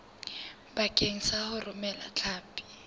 bakeng sa ho romela hlapi